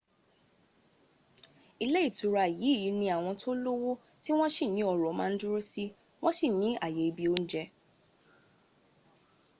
ilé ìtura yìí ní àwọn tó lówó tí wọ́n sì ní ọ́rọ̀ ma dúró si wọ́n sì ní àyè ibi óúnjẹ́